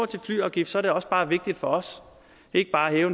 til flyafgift er det også bare vigtigt for os ikke bare at hæve